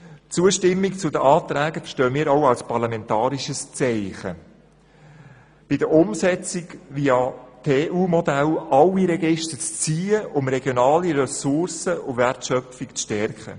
Die Zustimmung zu den Anträgen verstehen wir auch als parlamentarisches Zeichen, um bei der Umsetzung via TU-Modell alle Register zu ziehen und regionale Ressourcen und die Wertschöpfung zu stärken.